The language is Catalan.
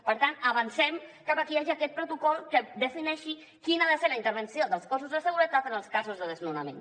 per tant avancem cap a que hi hagi aquest protocol que defineixi quina ha de ser la intervenció dels cossos de seguretat en els casos de desnonament